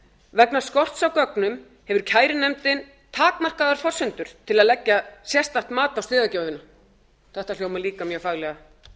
vegna skorts á gögnum hefur kærunefndin takmarkaðar forsendur til að leggja sérstakt mat á þetta hljómar líka mjög faglega